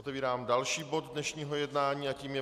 Otevírám další bod dnešního jednání a tím je